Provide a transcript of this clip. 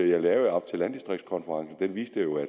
jeg lavede op til landdistriktkonferencen viste jo at